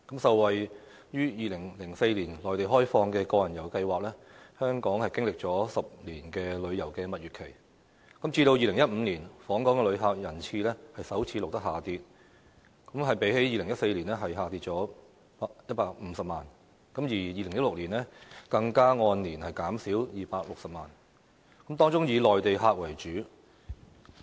受惠於2004年內地開放個人遊計劃，香港經歷了10年的旅遊蜜月期，直至2015年，訪港旅客人次首次錄得下跌，比2014年減少150萬，而2016年更按年減少260萬，當中以內地客為主。